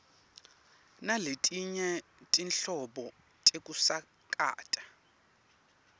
naletinye tinhlobo tekusakata